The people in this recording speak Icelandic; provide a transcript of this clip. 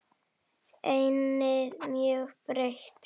Ennið mjög breitt.